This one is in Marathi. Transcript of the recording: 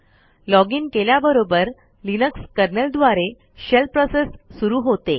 लॉजिन केल्याबरोबर लिनक्स कर्नेल द्वारे शेल प्रोसेस सुरू होते